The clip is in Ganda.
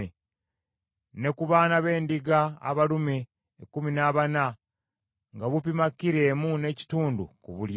ne ku baana b’endiga abalume ekkumi na bana, nga bupima kilo emu n’ekitundu ku buli emu.